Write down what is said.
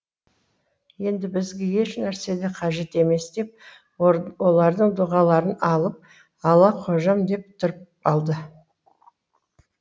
енді бізге ешнәрсе де қажет емес деп олардың дұғаларын алып алла қожам деп тұрып алды